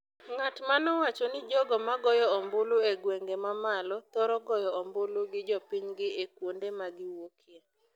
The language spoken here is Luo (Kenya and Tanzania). ng’at ma nowacho ni jogo ma goyo ombulu e gwenge ma malo thoro goyo ombulu gi jopinygi e kuonde ma giwuokye,